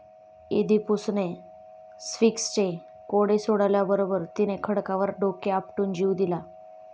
इदीपुसणे स्फिंक्सचे कोडे सोडवल्याबरोबर तिने खडकावर डोके आपटून जीव दिला.